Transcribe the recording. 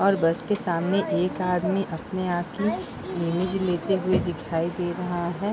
और बस के सामने एक आदमी अपने आप की इमेज लेते हुए दिखाई दे रहा है।